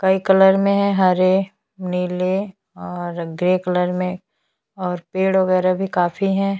कई कलर में है हरे नीले और ग्रे कलर में और पेड़ वगैरह भी काफी है।